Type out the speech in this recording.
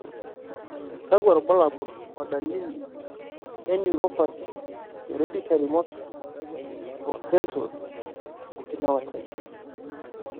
kakwa irbulabol o dalili e Neuropathy, hereditary motor o sensory, okinawa type?